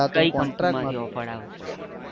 કયી company માંથી offer આવશે.